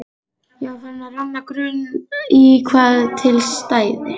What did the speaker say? Ég var farinn að renna grun í hvað til stæði.